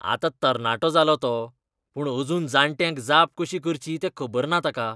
आतां तरणाटो जालो तो, पूण अजून जाण्ट्यांक जाप कशी करची तें खबर ना ताका.